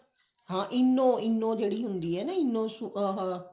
ਹਾਂ ENO eno ਜਿਹੜੀ ਹੁੰਦੀ ਆ ਨਾ ENO ਆਹ